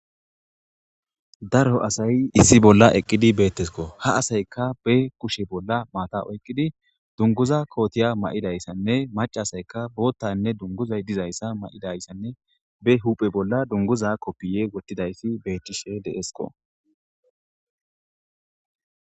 Daro asay issi bolla eqqidi beettesko ha asaykka be kushe bolla maata oyqqidi dunguza kootiya ma7idayssanne macasayka boottanne dunguzay dizayssa ma7idayssanne be huphe bolla dunguza koppiye wottidayssi beettishe deesqo.